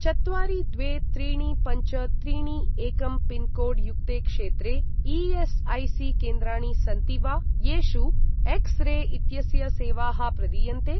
चत्वारि द्वे त्रीणि पञ्च त्रीणि एकं पिन्कोड् युक्ते क्षेत्रे ई.एस्.ऐ.सी.केन्द्राणि सन्ति वा, येषु एक्स् रे इत्यस्य सेवाः प्रदीयन्ते?